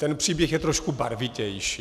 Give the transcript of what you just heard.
Ten příběh je trošku barvitější.